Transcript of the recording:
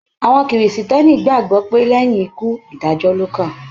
Àwọn Kìrìsìtẹ́ẹ́nì gbàgbọ́ pé lẹ́yìn ikú, ìdájọ́ ló kàn.